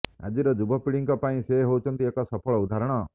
ଆଜିର ଯୁବପିଢ଼ିଙ୍କ ପାଇଁ ସେ ହେଉଛନ୍ତି ଏକ ସଫଳ ଉଦାହରଣ